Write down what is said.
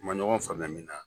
U man ɲɔgɔn faamuya min na